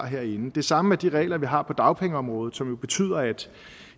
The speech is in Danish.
herinde det samme er de regler vi har på dagpengeområdet som jo betyder at